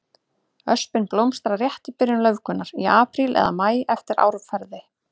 Öspin blómstrar rétt í byrjun laufgunar, í apríl eða maí eftir árferði.